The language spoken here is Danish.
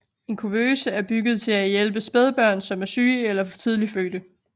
En kuvøse er bygget til at hjælpe spædbørn som er syge eller for tidligt fødte